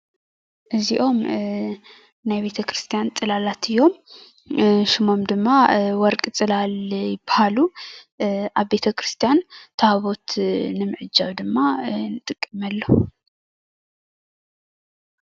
እዚኦም ናይ ቤተክርስትያን ፅላላት እዮም፣ ስሞም ድማ ወርቂ ፅላል ይበሃሉ፣ ኣብ ቤተክርስትያን ታቦት ንምዕጃብ ድማ ንጥቀመሎም፡፡